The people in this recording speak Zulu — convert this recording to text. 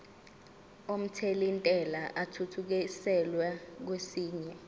omthelintela athuthukiselwa kwesinye